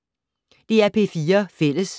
DR P4 Fælles